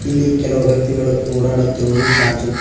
ಇಲ್ಲಿ ಕೆಲವು ವ್ಯಕ್ತಿಗಳು ಓಡಾಡುತ್ತಿರುವುದು ಕಾಣಿಸುತ್ತಿ--